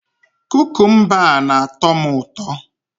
Kukumba a na-atọ m ụtọ